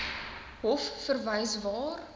hof verwys waar